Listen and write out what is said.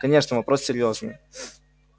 конечно вопрос серьёзный